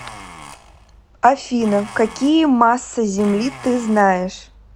афина какие масса земли ты знаешь